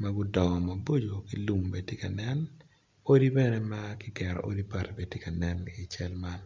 ma gudongo mbo ki odi bene makigero gitye kanen.